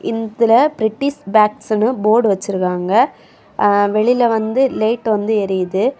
இதுல பிரிட்டிஷ் பேக்ஸ்னு போர்டு வெச்சுருக்காங்க எ வெளியில வந்து லேட் வந்து எரியிது.